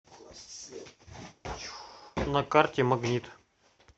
на карте магнит